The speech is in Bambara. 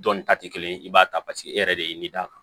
Dɔnni ta tɛ kelen ye i b'a ta paseke e yɛrɛ de ye nin d'a kan